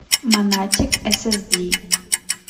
монатик эсэсди